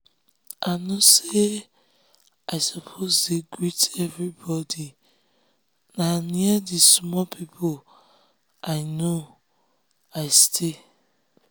i know say i suppose dey greet everybody na near d small people i know i stay